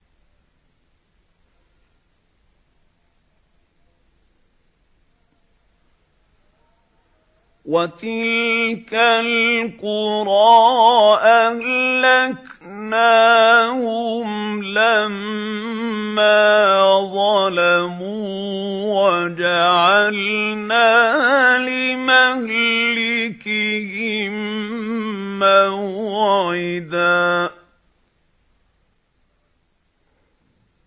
وَتِلْكَ الْقُرَىٰ أَهْلَكْنَاهُمْ لَمَّا ظَلَمُوا وَجَعَلْنَا لِمَهْلِكِهِم مَّوْعِدًا